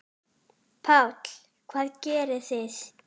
Páll: Hvað gerið þið?